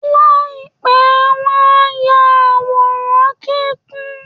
Láìpẹ́ wọn á ya àwòrán-kíkún